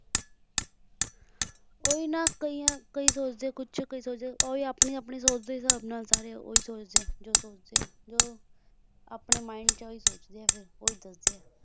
ਓਹੀ ਨਾ ਕਈਆਂ ਕਈ ਸੋਚਦੇ ਹੈਂ ਕੁਝ ਕਈ ਸੋਚਦੇ ਹੈ ਓਹੀ ਆਪਣੀ ਆਪਣੀ ਸੋਚ ਦੇ ਹਿਸਾਬ ਨਾਲ ਸਾਰੇ ਓਹੀ ਸੋਚਦੇ ਹੈ ਜੋ ਸੋਚਦੇ ਹੈ ਜੋ ਆਪਣੇ Mind ਵਿੱਚ ਓਹੀ ਸੋਚਦੇ ਹੈ ਫਿਰ ਓਹੀ ਦੱਸਦੇ ਹੈਂ